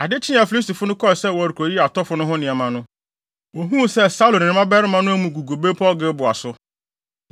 Ade kyee a Filistifo no kɔɔ sɛ wɔrekoyiyi atɔfo no ho nneɛma no, wohuu sɛ Saulo ne ne mmabarima no amu gugu bepɔw Gilboa so.